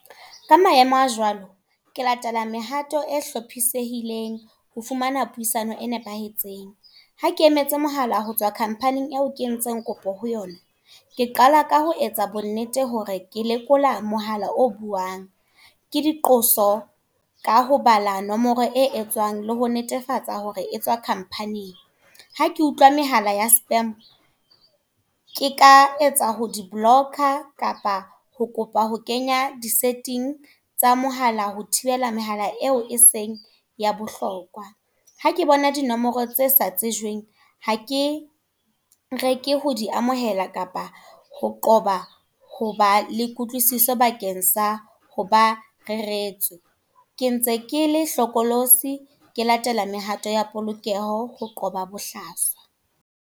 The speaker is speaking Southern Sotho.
Ka maemo a jwalo, ke latela mehato e hlophisehileng, ho fumana puisano e nepahetseng. Ha ke emetse mohala ho tswa company eo ke entseng kopo ho yona. Ke qala ka ho etsa bonnete hore ke lekola mohala o buang. Ke diqoso ka ho bala nomoro e etswang, le ho netefatsa hore etswa company-eng. Ha ke utlwa mehala ya spam. Ke ka etsa ho di-block-a, kapa ho kopa ho kenya di-setting tsa mohala ho thibela mehala e o e seng ya bohlokwa. Ha ke bona dinomoro tse sa tsejweng, ha ke reke ho di amohela kapa ho qoba hoba le kutlwisiso bakeng sa ho ba reretswe. Ke ntse ke le hlokolosi, ke latele mehato ya polokeho, ho qoba bohlaswa.